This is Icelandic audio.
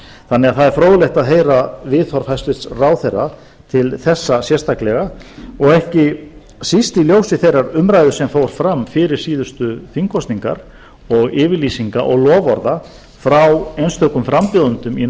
þannig að það er fróðlegt að heyra viðhorf hæstvirtur ráðherra til þessa sérstaklega og ekki síst í ljósi þeirrar umræðu sem fór fram fyrir síðustu þingkosningar og yfirlýsinga og loforða frá einstökum frambjóðendum í